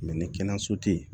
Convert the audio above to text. ni kɛnɛyaso tɛ yen